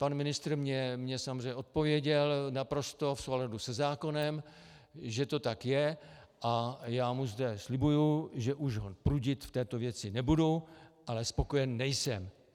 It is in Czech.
Pan ministr mně samozřejmě odpověděl naprosto v souladu se zákonem, že to tak je, a já mu zde slibuji, že už ho prudit v této věci nebudu, ale spokojen nejsem.